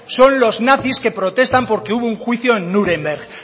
son los que protestan porque hubo un juicio en núremberg